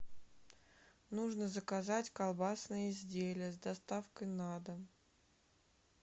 нужно заказать колбасные изделия с доставкой на дом